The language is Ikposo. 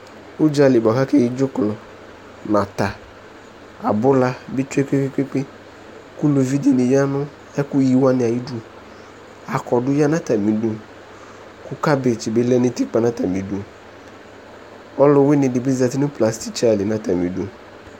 Udzali bua ka kéyi dzuklɔ nata abula bi tsué kpékpékpé ku uluvi dini ya nu ɛku yiwani ayi du akɔdu ya na atami du kabéth bi lɛ nu utikpa na atami du ɔluwuini di bi zɛti plasitsa li na tami du